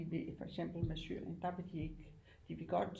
De vil for eksempel med Syrien der vil de ikke de vil godt